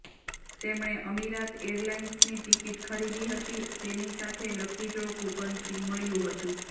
તેમણે અમિરાત એરલાઇન્સની ટિકીટ ખરીદી હતી તેની સાથે લકી ડ્રો કુપન ફ્રી મળ્યું હતું